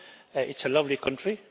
It is a lovely country